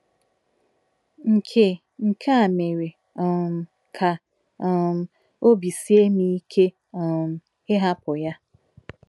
Nke Nke a mere um ka um obi sie m ike um ịhapụ ya.